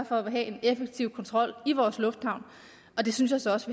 for at have en effektiv kontrol i vores lufthavn og det synes jeg så også